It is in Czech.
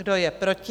Kdo je proti?